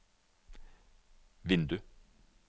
vindu